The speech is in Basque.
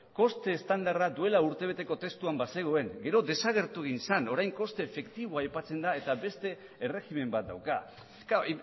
koste estandarra duela urtebeteko testuan bazegoen gero desagertu egin zen orain koste efektiboa aipatzen da eta beste erregimen bat dauka klaro